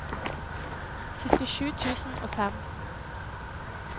syttisju tusen og fem